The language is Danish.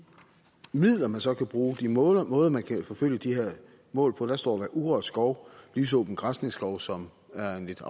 midler man så kan bruge og de måder måder man kan forfølge de her mål på står der urørt skov og lysåben græsningsskov som er en lidt